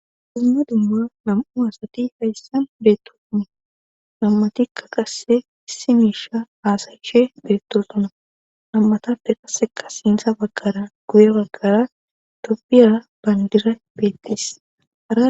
Duma dumma nam7u asati hayssan beettotuni nammatikka qasse issi miisha aasayishe beettotuna nammatapfe qasseka siinsa baggara guye baggara dobiyara bandira beettis.